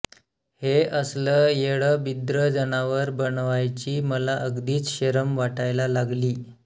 हे असलं येडंबिद्रं जनावर बनवायची मला अगदीच शरम वाटायला लागली